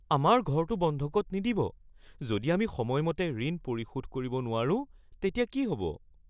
আমাৰ ঘৰটো বন্ধকত নিদিব। যদি আমি সময়মতে ঋণ পৰিশোধ কৰিব নোৱাৰো তেতিয়া কি হ'ব?